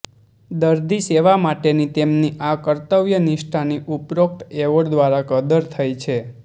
દર્દી સેવા માટેની તેમની આ કર્તવ્ય નિષ્ઠાની ઉપરોક્ત એવોર્ડ દ્વારા કદર થઈ છે